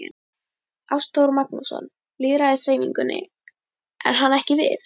Ástþór Magnússon, Lýðræðishreyfingunni: Er hann ekki við?